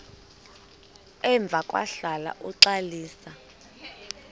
emva kwahlala uxalisa